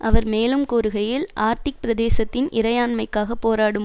அவர் மேலும் கூறுகையில் ஆர்டிக் பிரதேசத்தின் இறையாண்மைக்காக போராடும்